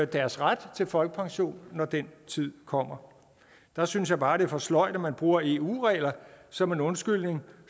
deres ret til folkepension når den tid kommer der synes jeg bare det er for sløjt man bruger eu regler som en undskyldning